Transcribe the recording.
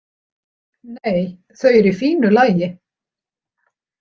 Nei, þau eru í fínu lagi.